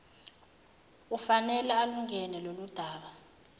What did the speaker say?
ufanele alungene loludaba